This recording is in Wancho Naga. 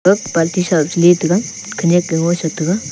ag party sah am chile taga khanyak lo ye ngoisa taga.